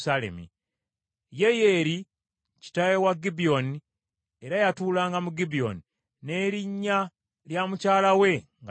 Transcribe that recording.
Yeyeri kitaawe wa Gibyoni era yatulanga mu Gibyoni, n’erinnya lya mukyala we nga ye Maaka,